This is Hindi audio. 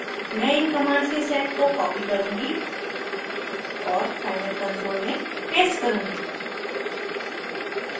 मैं इन कमांड्स के सेट को कॉपी करुँगी और साइलैब कंसोल में पेस्ट करुँगी